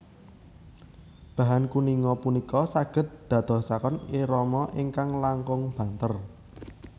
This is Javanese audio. Bahan kuninga punika saged dadosaken irama ingkang langkung banter